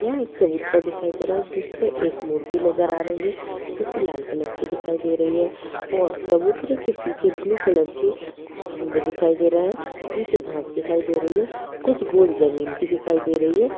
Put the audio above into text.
यह एक चबूतरा दिखाई दे रहा है जिसपे एक मूर्ति नजर आ रही है जो कि लाल कलर की दिखाई दे रही है और चबूतरे के पीछे ब्लू कलर के कुछ खम्भे दिखाई दे रहे है नीचे घास दिखाई दे रही है कुछ गोल जमीन भी दिखाई दे रही है।